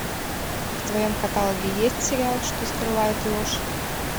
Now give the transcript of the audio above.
в твоем каталоге есть сериал что скрывает ложь